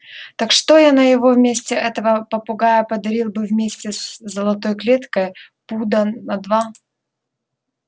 так что я на его месте этого попугая подарил бы вместе с золотой клеткой пуда на два